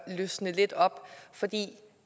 løsne lidt op for det